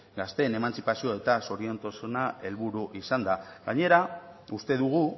gazteen emantzipazioa eta zoriontasuna helburu izanda gainera uste dugu